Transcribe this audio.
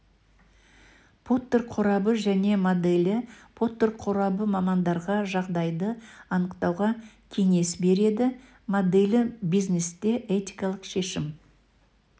поттер қорабы және моделі поттер қорабы мамандарға жағдайды анықтауға кеңес береді моделі бизнесте этикалық шешім